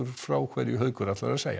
frá hverju Haukur ætlar að segja